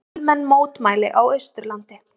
Fjölmenn mótmæli á Austurlandi